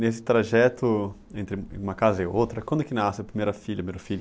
Nesse trajeto entre uma casa e outra, quando que nasce a primeira filha, primeiro filho?